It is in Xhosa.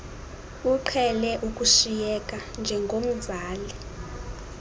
uqhele ukushiyeka njengomzali